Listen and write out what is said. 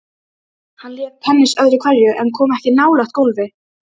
Hann lék tennis öðru hverju en kom ekki nálægt golfi.